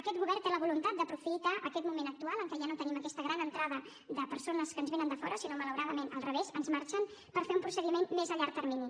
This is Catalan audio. aquest govern té la voluntat d’aprofitar aquest moment actual en què ja no tenim aquesta gran entrada de persones que ens vénen de fora sinó malauradament al revés que ens marxen per fer un procediment més a llarg termini